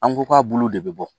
An ko k'a bulu de bi bɔ